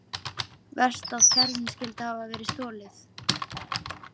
Verst að kerrunni skyldi hafa verið stolið.